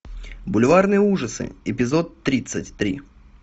бульварные ужасы эпизод тридцать три